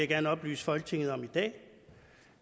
gerne oplyse folketinget om i dag